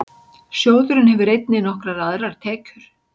Sjóðurinn hefur einnig nokkrar aðrar tekjur.